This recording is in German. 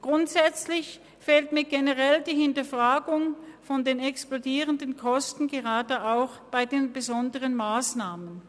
Grundsätzlich fehlt mir generell die Hinterfragung der explodierenden Kosten, gerade auch bei den besonderen Massnahmen.